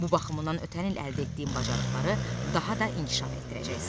Bu baxımdan ötən il əldə etdiyin bacarıqları daha da inkişaf etdirəcəksən.